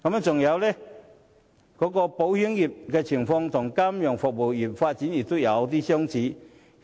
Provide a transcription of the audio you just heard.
此外，保險業的情況和金融服務業的發展有其相似之處。